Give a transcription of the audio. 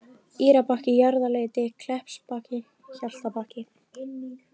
Írabakki, Jaðarleiti, Kleppsbakki, Hjaltabakki